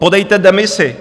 Podejte demisi!